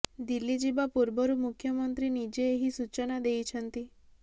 ଦିଲ୍ଲୀ ଯିବା ପୂର୍ବରୁ ମୁଖ୍ୟମନ୍ତ୍ରୀ ନିଜେ ଏହି ସୂଚନା ଦେଇଛନ୍ତି